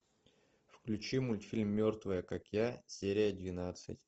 включи мультфильм мертвые как я серия двенадцать